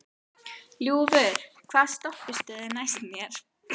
Ljúfur, hvaða stoppistöð er næst mér?